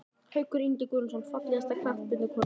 Haukur Ingi Guðnason Fallegasta knattspyrnukonan?